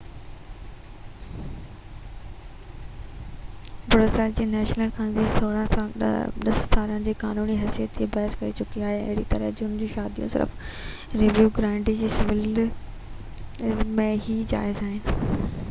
Brazil جي national congress 10 سالن کان قانوني حيثيت لاءِ بحث ڪري چڪي آهي ۽ اهڙي طرح جون عام شاديون صرف ريو گرانڊي ڊو سول ۾ ئي جائز آهن